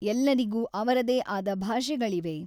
ಎಲ್ಲರಿಗೂ ಅವರದೇ ಆದ ಭಾಷೆಗಳಿವೆ.